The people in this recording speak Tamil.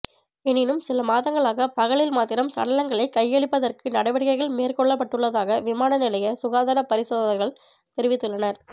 எனினும் சில மாதங்களாக பகலில் மாத்திரம் சடலங்களை கையளிப்பதற்கு நடவடிக்கைகள் மேற்கொள்ளப்பட்டுள்ளதாக விமான நிலைய சுகாதார பரிசோதகர்கள் தெரிவித்துள்ளனர்